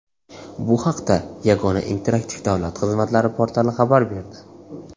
Bu haqda Yagona interaktiv davlat xizmatlari portali xabar berdi .